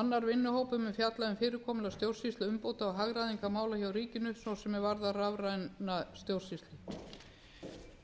annar vinnuhópur mun fjalla um fyrirkomulag stjórnsýsluumbóta og hagræðingarmála hjá ríkinu svo sem er varða rafræna stjórnsýslu